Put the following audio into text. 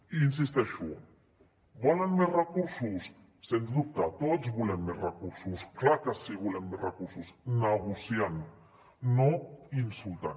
i hi insisteixo volen més recursos sens dubte tots volem més recursos clar que sí que volem més recursos negociant no insultant